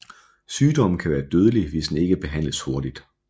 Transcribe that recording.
Sygdommen kan være dødelig hvis den ikke behandles hurtigt